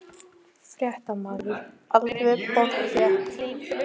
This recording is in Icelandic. Fréttamaður: Alveg pottþétt?